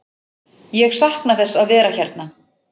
Ég sakna þess að vera hérna.